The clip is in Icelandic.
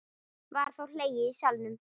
Var þá hlegið í salnum.